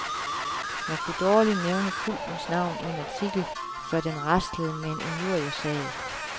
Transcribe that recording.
Man kunne dårligt nævne kultens navn i en artikel, før den raslede med en injuriesag.